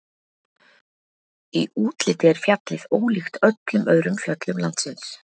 Í útliti er fjallið ólíkt öllum öðrum fjöllum landsins.